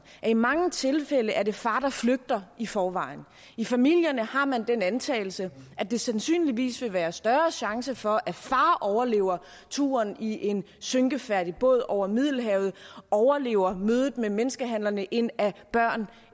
at i mange tilfælde er det far der flygter i forvejen i familierne har man den antagelse at der sandsynligvis vil være større chance for at far overlever turen i en synkefærdig båd over middelhavet overlever mødet med menneskehandlerne end at børn